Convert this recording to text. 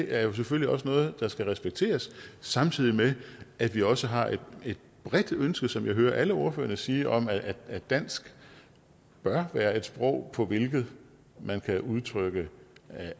er selvfølgelig også noget der skal respekteres samtidig med at vi også har et bredt ønske som jeg hører alle ordførerne sige om at at dansk bør være et sprog på hvilket man kan udtrykke